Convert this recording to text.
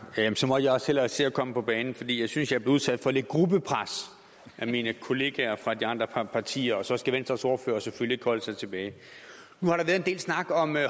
så må jeg også hellere se at komme på banen fordi jeg synes jeg bliver udsat for lidt gruppepres af mine kollegaer fra de andre partier og så skal venstres ordfører selvfølgelig holde sig tilbage nu har der været en del snak om